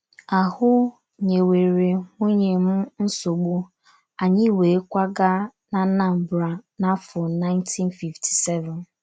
Ahụ́ nyewere nwunye m nsogbu, anyị wee kwaga n'Anambra n’afọ 1957.